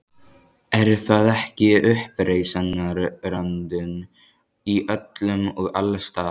Er það ekki uppreisnarandinn- í öllum og alls staðar.